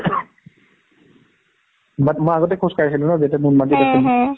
but মই আগতে খোজ কাঢ়িছিলো ন যেতিয়া নুনমাতিত আছিলো